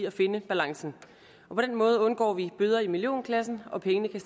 at finde balancen på den måde undgår vi bøder i millionklassen og pengene kan